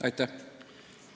Aitäh!